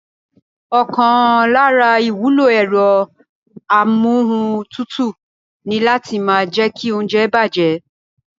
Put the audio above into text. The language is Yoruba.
Ọ̀kan lára ìwúlò ẹ̀rọ amúohuntutù ni láti má jẹ́kí óúnjẹ bàjẹ́